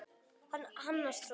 Að hamast svona.